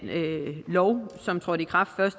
lov som trådte i kraft